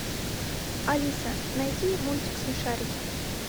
алиса найди мультик смешарики